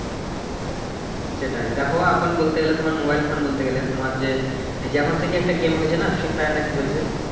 হুম সেটাই দেখো এখন বলতে গেলে তোমার মোবাইল ফোন বলতে গেলে তোমার যে এখন হচ্ছে যে কি একটা গেম উঠেছে নাহ ফ্রি ফায়ার নাকি কি বলছে ।